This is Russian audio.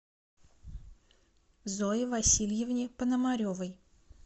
зое васильевне пономаревой